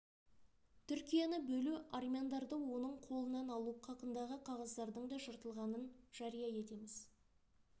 түркияны бөлу армяндарды оның қолынан алу қақындағы қағаздардың да жыртылғанын жария етеміз